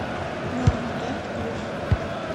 норма дент плюс